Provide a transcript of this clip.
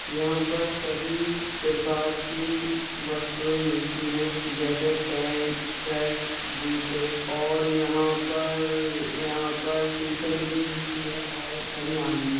यहाँ पर सभी प्रकार की वस्तुए मिलती है| जैसे पेंट सर्ट जूते और यहा पर यहा पर टी-शर्ट भी मिलती है और बनियान भी।